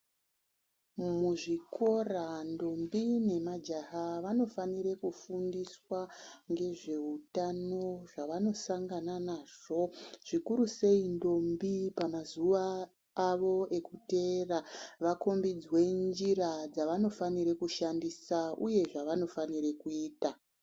Muzvikora ndombi nemajaha vanofanire kufundiswa ngezveutano zvavanosangana nazvo zvikuru sei ndombi pamazuwa avo ekuteera vakombidzwe njira dzavanofanire kushandisa uye zvavanofanire kuita.